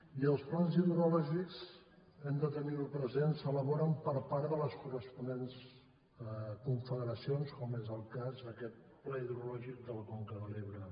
i els plans hidrològics hem de tenir ho present els elaboren les corresponents confederacions com és el cas d’aquest pla hidrològic de la conca de l’ebre